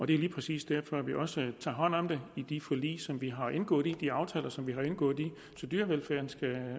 det er lige præcis derfor at vi også tager hånd om det i de forlig som vi har indgået i de aftaler som vi har indgået så dyrevelfærden skal være